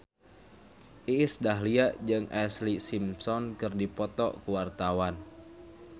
Iis Dahlia jeung Ashlee Simpson keur dipoto ku wartawan